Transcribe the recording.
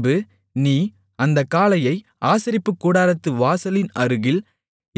பின்பு நீ அந்தக் காளையை ஆசரிப்புக்கூடாரத்து வாசலின் அருகில்